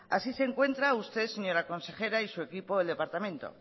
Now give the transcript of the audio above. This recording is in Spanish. así se encuentra usted señora consejera y su equipo el departamento